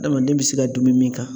Adamaden bɛ se ka dunmi min kan